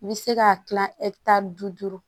I bɛ se k'a dilan tan ni duuru